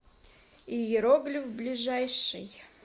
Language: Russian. иероглиф ближайший